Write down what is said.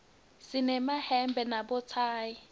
sinemayemba nabothayi